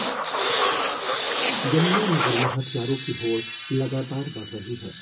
यमुनानगर में हथियारों की होड़ लगातार बढ़ रही है